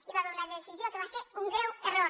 hi va haver una decisió que va ser un greu error